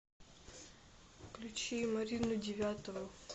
включи марину девятову